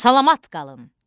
Salamat qalın!